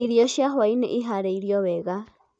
irio cia hwainĩ ĩharĩrĩĩo wega